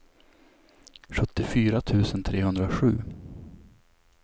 sjuttiofyra tusen trehundrasju